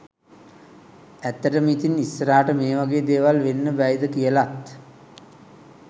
ඇත්තටම ඉතින් ඉස්සරහට මේ වගේ දේවල් වෙන්න බැයිද කියලත්